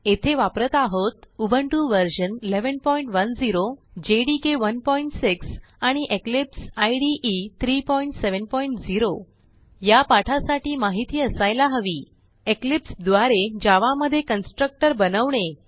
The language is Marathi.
येथे वापरत आहोत Ubuntu version 1110 Java development environment JDK 16 आणि इक्लिप्स इदे 370 या पाठासाठी माहिती असायला हवी इक्लिप्स द्वारे जावा मध्ये कन्स्ट्रक्टर बनवणे